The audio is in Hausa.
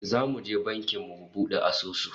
Zamu je banki mu bude asusu